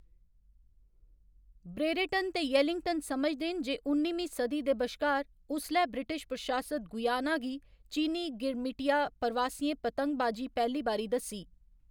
Brereton ते येलिंगटन समझदे न जे उन्निमीं सदी दे बश्कार उसलै ब्रिटिश प्रशासित गुयाना गी चीनी गिरमिटिया प्रवासियें पतंगबाजी पैह्‌ली बारी दस्सी।